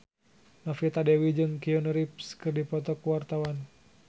Novita Dewi jeung Keanu Reeves keur dipoto ku wartawan